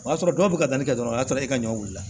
O y'a sɔrɔ dɔw bɛ ka taa ni kɛ dɔrɔn a y'a sɔrɔ e ka ɲɔ wilila